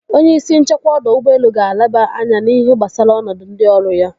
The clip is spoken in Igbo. Onye isi nchekwa ọdọ ụgbọelu ga-elaba anya n'ihe gbasara ọnọdụ ndị ọrụ ya.